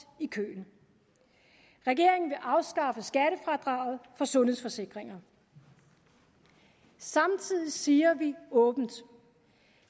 i køen regeringen vil afskaffe skattefradraget for sundhedsforsikringer samtidig siger vi åbent